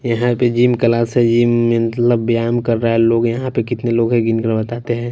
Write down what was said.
यहां पे gym class है जिम में मतलब बायाम कर रहा है लोग यहां पे कितने लोग हैं गिन कर बताते हैं।